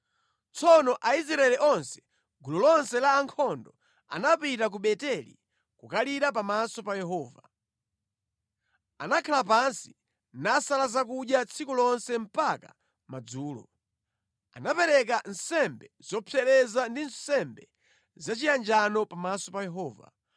Tsono Aisraeli onse, gulu lonse la ankhondo, anapita ku Beteli kukalira pamaso pa Yehova. Anakhala pansi nasala zakudya tsiku lonse mpaka madzulo. Anapereka nsembe zopsereza ndi nsembe zachiyanjano pamaso pa Yehova.